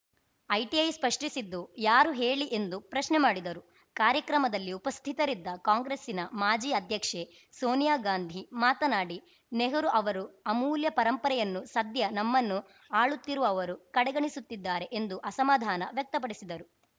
ITI ಸ್ಪಷ್ಟಿಸಿದ್ದು ಯಾರು ಹೇಳಿ ಎಂದು ಪ್ರಶ್ನೆ ಮಾಡಿದರು ಕಾರ್ಯಕ್ರಮದಲ್ಲಿ ಉಪಸ್ಥಿತರಿದ್ದ ಕಾಂಗ್ರೆಸ್ಸಿನ ಮಾಜಿ ಅಧ್ಯಕ್ಷೆ ಸೋನಿಯಾ ಗಾಂಧಿ ಮಾತನಾಡಿ ನೆಹರು ಅವರು ಅಮೂಲ್ಯ ಪರಂಪರೆಯನ್ನು ಸದ್ಯ ನಮ್ಮನ್ನು ಆಳುತ್ತಿರುವವರು ಕಡೆಗಣಿಸುತ್ತಿದ್ದಾರೆ ಎಂದು ಅಸಮಾಧಾನ ವ್ಯಕ್ತಪಡಿಸಿದರು